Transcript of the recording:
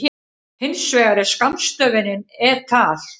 Hins vegar er skammstöfunin et al.